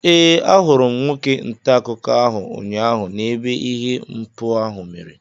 Ee, ahụrụ m nwoke ntaakụkọ ahụ ụnyaahụ n'ebe ihe mpụ ahụ mere